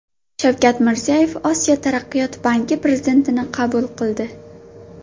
Shavkat Mirziyoyev Osiyo taraqqiyot banki prezidentini qabul qildi.